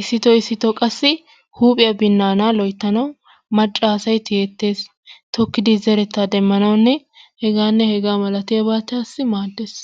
Issito issito qassi huuphiya binnaanaa loyttanawu macca asay tiyettees. Tokkidi zerettaa demmanawunne hegaanne hegaa malatiyabatassi maaddees.